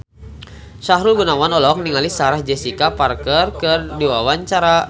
Sahrul Gunawan olohok ningali Sarah Jessica Parker keur diwawancara